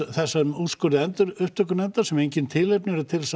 þessum úrskurði endurupptökunefndar sem engin tilefni eru til þess að